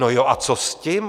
No jo a co s tím?